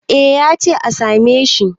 eh ya ce a same shi